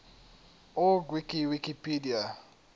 org wiki wikipedia